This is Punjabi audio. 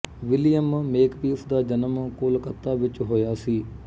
ਵਿਲੀਅਮ ਮੇਕਪੀਸ ਦਾ ਜਨਮ ਕੋਲਕਾਤਾ ਵਿੱਚ ਹੋਇਆ ਸੀ